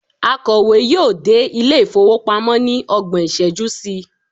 akowe yíò dé ilé ifowopamọ ni ọgbọn iṣẹju sí